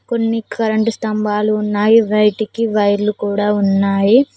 కొన్ని కరెంటు స్తంభాలు ఉన్నాయి బయటికి వైర్లు కూడా ఉన్నాయి.